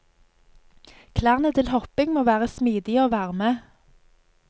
Klærne til hopping må være smidige og varme.